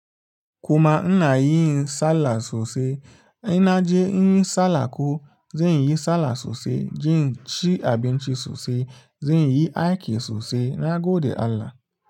Kuma ina yin sallah sosai, ina je inyi sallah ko zan yi sallah sosai, zan ci abinci sosai, zan yi aiki sosai, na gode Allah.